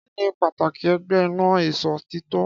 Kí ni pàtàkì ẹgbẹ́ ina ìṣòtítọ́?